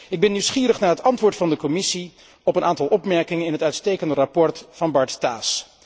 Ik ben nieuwsgierig naar het antwoord van de Commissie op een aantal opmerkingen in het uitstekende verslag van Bart Staes.